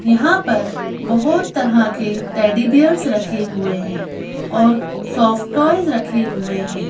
यहां पर बहुत तरह के टैडी बेयर्स रखे हुए हैं और सॉफ्ट टॉयज रखे हुए हैं।